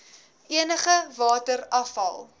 energie water afval